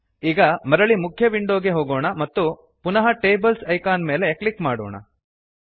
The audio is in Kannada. ಈಗ ಮರಳಿ ಮುಖ್ಯ ವಿಂಡೋ ಗೆ ಹೋಗೋಣ ಮತ್ತು ಪುನಃ ಟೇಬಲ್ಸ್ ಐಕಾನ್ ಮೇಲೆ ಕ್ಲಿಕ್ ಮಾಡೋಣ